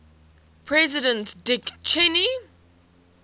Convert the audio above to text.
president dick cheney